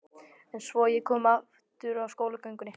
En svo ég komi aftur að skólagöngunni.